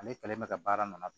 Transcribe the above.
Ale kɛlen bɛ ka baara ninnu